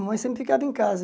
A mamãe sempre ficava em casa.